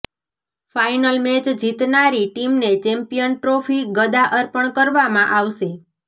final match જીતનારી ટીમને champion trophy ગદા અર્પણ કરવામાં આવશે